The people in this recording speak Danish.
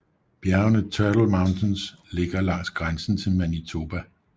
Bjergene Turtle Mountains ligger langs grænsen til Manitoba